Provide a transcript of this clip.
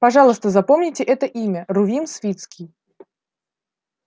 пожалуйста запомните это имя рувим свицкий